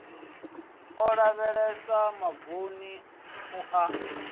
o ḓalesa mavuni na u